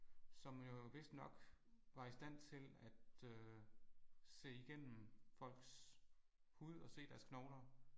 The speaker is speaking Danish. Som jo vist nok var i stand til at øh se igennem folks hud og se deres knogler